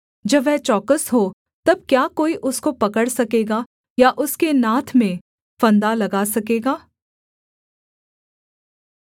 जब वह चौकस हो तब क्या कोई उसको पकड़ सकेगा या उसके नाथ में फंदा लगा सकेगा